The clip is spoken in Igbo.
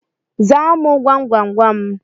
Zaa mu gwamgwamgwam